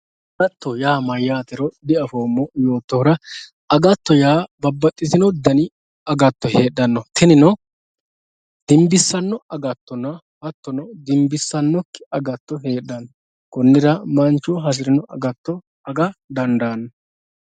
Agattote yaa mayyatero diafoommo yoottohura agatto yaa babbaxxitino dani agatto heedhano tinino dimbisano agattonna hattono dimbissanokki agatto heedhano konira manchu hasirino agatto aga dandaano.